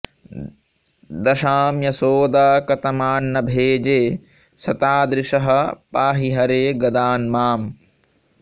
दशां यशोदा कतमान्न भेजे स तादृशः पाहि हरे गदान्माम्